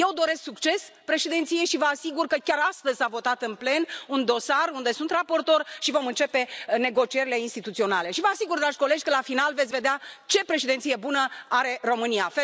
Eu doresc succes Președinției și vă asigur că chiar astăzi s a votat în plen un dosar unde sunt raportor și vom începe negocierile instituționale și vă asigur, dragi colegi, că, la final, veți vedea ce Președinție bună are România.